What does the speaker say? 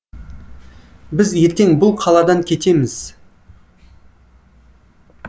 біз ертең бұл қаладан кетеміз